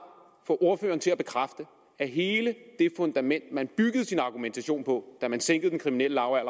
få ordføreren til at bekræfte at hele det fundament man byggede sin argumentation på da man sænkede den kriminelle